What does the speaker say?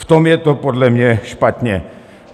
V tom je to podle mě špatně.